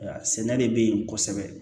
Sɛnɛ de bɛ yen kosɛbɛ